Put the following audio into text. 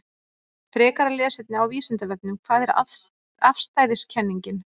Frekara lesefni á Vísindavefnum: Hvað er afstæðiskenningin?